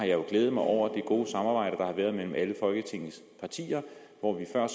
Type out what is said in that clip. jo glædet mig over det gode samarbejde der har været mellem alle folketingets partier hvor vi her